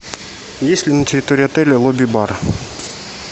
есть ли на территории отеля лобби бар